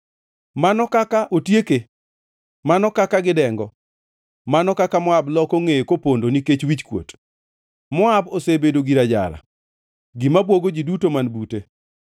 “Mano kaka otieke! Mano kaka gidengo! Mano kaka Moab loko ngʼeye kopondo nikech wichkuot! Moab osebedo gir ajara, gima bwogo ji duto man bute.”